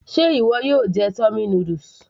Ṣe ìwọ yóò jẹ tummy noodles